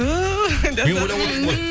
ту мен ойлап отырмын ғой